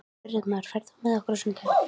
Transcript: Friðmar, ferð þú með okkur á sunnudaginn?